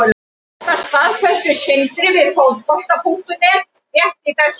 Þetta staðfesti Sindri við Fótbolta.net rétt í þessu.